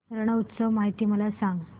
रण उत्सव माहिती मला सांग